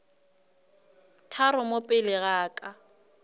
tharo mo pele ga ka